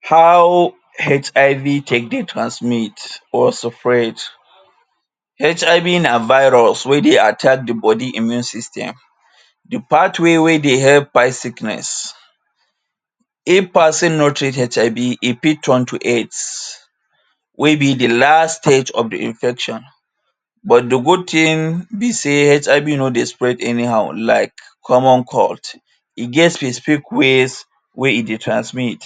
How HIV take dey transmit or spread? HIV na virus wey dey attack the body immune system. The pathway wey dey take fight sickness. if person no treat HIV, e fit turn to AIDS wey be the last stage of the infection but the good thing be say HIV no dey spread anyhow like common cold. E get specific ways wey e dey transmit.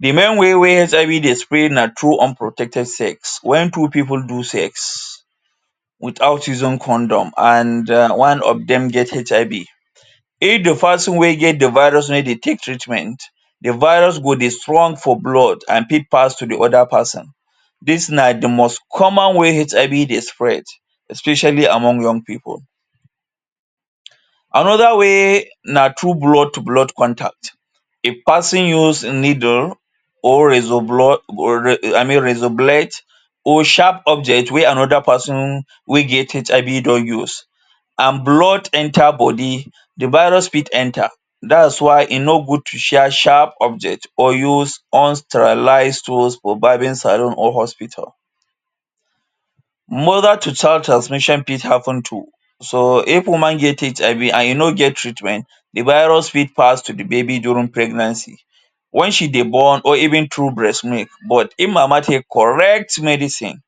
The main way wey HIV dey spread na through unprotected sex. Wen two people do sex without using condom and um one of dem get HIV, if the person wey get the virus no dey take treatment, the virus go dey strong for blood and fit pass to the other person. Dis na the most common way HIV dey spread especially among young people. Another way na through blood to blood contact. If person use needle or razor I mean razor blade or sharp object wey another person wey get HIV don use and blood enter body, the virus fit enter. Dats why e no good to share sharp object or use unsterilized tools for barbing saloon or hospital. Mother to child transmission fit happen too. So if woman get HIV and e no get treatment, the virus fit pass to the baby during pregnancy. Wen she dey born or even through breastmilk but if mama take correct medicine,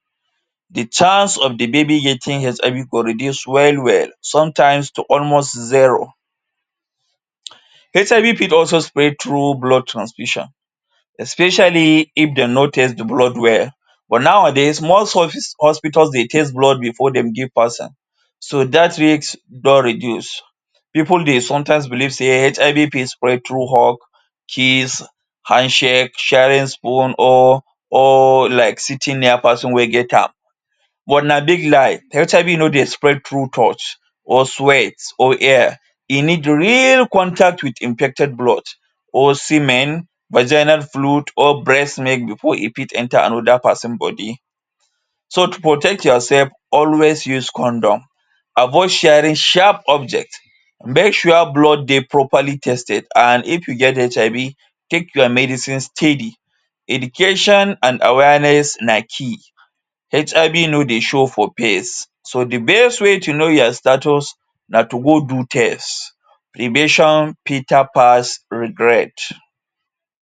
the chance of the baby getting HIV go reduce well well, sometimes to almost zero. HIV fit also spread through blood transfusion especially if dem no test the blood well but nowadays most hospitals dey test blood before dem give person, so dat risk don reduce. People dey sometimes believe say HIV fit spread through hug, kiss, handshake, sharing spoon or or like sitting near person wey get am but na big lie. HIV no dey spread through touch or sweat or air. E need real contact with infected blood or semen, vaginal fluid or breastmilk before e fit enter another person body. So protect yourself, always use condom, avoid sharing sharp object. Make sure blood dey properly tested and if you get HIV take your medicines steady. Education and awareness na key. HIV no dey show for face. So the best ways to know your status na to go do test, prevention better pass regret.